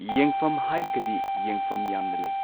ꯌꯦꯡꯐꯝ ꯍꯥꯏꯔꯒꯗꯤ ꯌꯦꯡꯐꯝ ꯌꯥꯝꯅ ꯑꯃ ꯂꯩ꯫